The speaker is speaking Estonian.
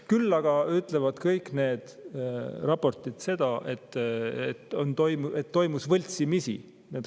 Küll aga ütlevad kõik need raportid seda, et toimus võltsimisi.